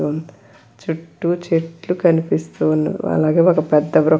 చుట్టూ చెట్లు కనిపిస్తుంది. అలాగే ఒక పెద్ద వృ --